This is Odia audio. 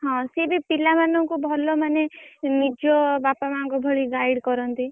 ହଁ ସିଏ ବି ପିଲା ମାନଙ୍କୁ ଭଲ ମାନେ ନିଜ ବାପାମାଆଙ୍କ ଭଳି guide କରନ୍ତି।